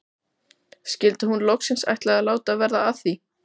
Skyldi hún loksins ætla að láta verða af því?